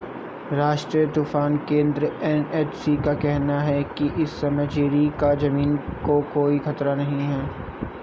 राष्ट्रीय तूफ़ान केंद्र एनएचसी का कहना है कि इस समय जैरी का ज़मीन को कोई खतरा नहीं है।